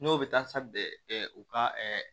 N'o bɛ taa u ka